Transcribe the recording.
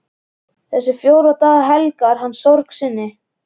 Þessa fjóra daga helgar hann sorg sinni.